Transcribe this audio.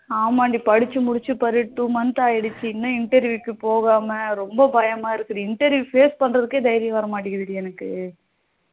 ஆமா டி படிச்சி முடிச்ச பாரு two month ஆக்கிடுச்சி இன்னும் interview போகாம ரொம்ப பயமா இருக்கு டி interview face பண்ணுறதுக்கே தைரியம் வரமாட்டுக்குது டி எனக்கு